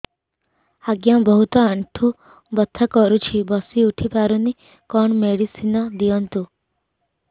ଆଜ୍ଞା ବହୁତ ଆଣ୍ଠୁ ବଥା କରୁଛି ବସି ଉଠି ପାରୁନି କଣ ମେଡ଼ିସିନ ଦିଅନ୍ତୁ